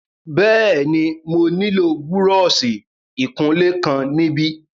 Bẹ́ẹ̀ni, mo nílò búrọ́ọ̀ṣì ìkunlé kan níbí.